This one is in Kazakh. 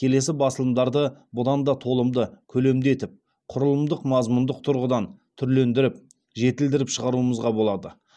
келесі басылымдарды бұдан да толымды көлемді етіп құрылымдық мазмұндық тұрғыдан түрлендіріп жетілдіріп шығаруымызға болады